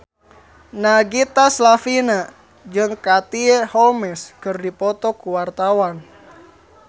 Nagita Slavina jeung Katie Holmes keur dipoto ku wartawan